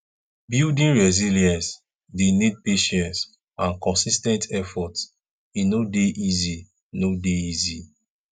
building resilience dey need patience and consis ten t effort e no dey easy no dey easy